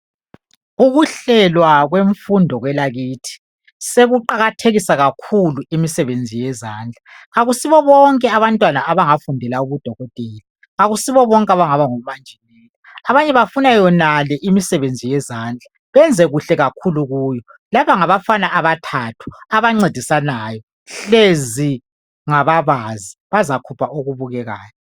Ukuhlelwa kwemfundo kwelakithi sekuqakathekisa kakhulu imsebenzi yezandla .Akusibobonke abantwana abangafundela ubudokotela .Akusibo bonke abangaba ngomanjinela . Abanye bafuna yonale imisebenzi yezandla . Benze kuhle kakhulu kuyo .Laba ngabafana abathathu abancedisanayo .Hlezi ngababazi bazakhupha okubukekayo .